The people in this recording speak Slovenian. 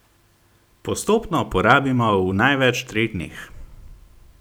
Postopno porabimo v največ treh dneh.